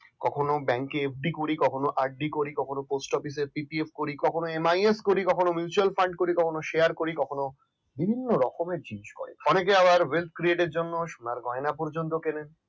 কখনো bank এ FD করি কখনো RD করি কখনো post office এ PPF করি কখনো MIS করি কখনো mutual fund কখনো share কখনো বিভিন্ন রকমের জিনিস করি অনেক এ আবার wave create এর জন্য সোনার গয়না পর্যন্ত পড়ে